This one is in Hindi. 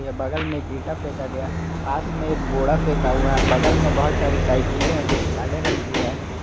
ये बगल में एक ईटा फेंका गया पास में एक बोड़ा फेंका हुआ है बगल में बहुत सारी साइकिले हैं जो कि काले रंग की है।